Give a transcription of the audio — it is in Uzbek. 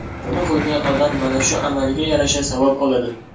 Buni qilgan odam mana shu amaliga yarasha savob oladi.